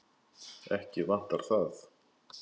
Ekki vantar það.